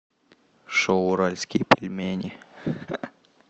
шоу уральские пельмени